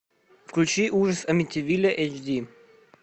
включи ужас амитивилля эйч ди